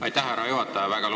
Aitäh, härra juhataja!